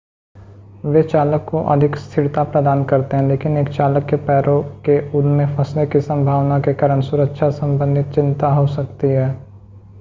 वे चालक को अधिक स्थिरता प्रदान करते हैं लेकिन एक चालक के पैरों के उनमें फंसने की सम्भावना के कारण सुरक्षा सम्बंधित चिंता हो सकती है